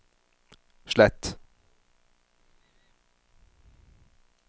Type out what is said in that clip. slett